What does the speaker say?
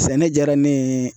Sɛnɛ jaara ne ye